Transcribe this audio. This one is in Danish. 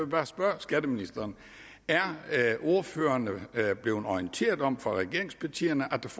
bare spørge skatteministeren er ordførerne blevet orienteret om fra regeringspartiernes